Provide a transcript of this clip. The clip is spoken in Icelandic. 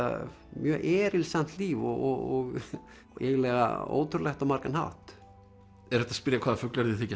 mjög erilsamt líf og eiginlega ótrúlegt á margan hátt er hægt að spyrja hvaða fuglar þér þykja